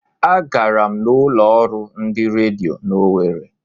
A gara m n'ulo ọrụ ndị redio n'Owere.